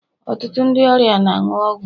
Ọtụtụ ndị ọrịa na-aṅụ ọgwụ